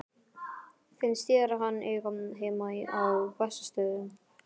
Finnst þér hann eiga heima á Bessastöðum?